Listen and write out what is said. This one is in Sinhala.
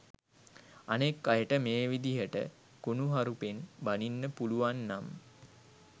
අනෙක් අයට මේ විදිහට කුණුහරුපෙන් බණින්න පුළුවන්නම්